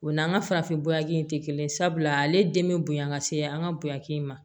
O n'an ka farafin bɔɲɔgɔnin tɛ kelen ye sabula ale den bɛ bonya ka se an ka bonyaki ma